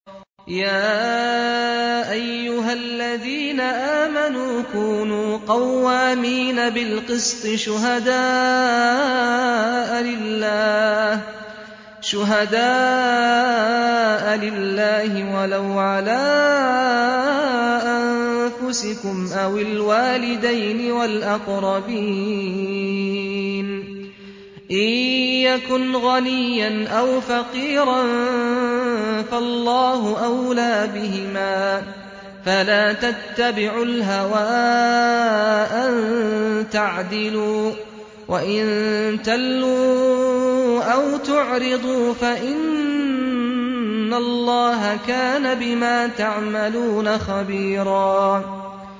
۞ يَا أَيُّهَا الَّذِينَ آمَنُوا كُونُوا قَوَّامِينَ بِالْقِسْطِ شُهَدَاءَ لِلَّهِ وَلَوْ عَلَىٰ أَنفُسِكُمْ أَوِ الْوَالِدَيْنِ وَالْأَقْرَبِينَ ۚ إِن يَكُنْ غَنِيًّا أَوْ فَقِيرًا فَاللَّهُ أَوْلَىٰ بِهِمَا ۖ فَلَا تَتَّبِعُوا الْهَوَىٰ أَن تَعْدِلُوا ۚ وَإِن تَلْوُوا أَوْ تُعْرِضُوا فَإِنَّ اللَّهَ كَانَ بِمَا تَعْمَلُونَ خَبِيرًا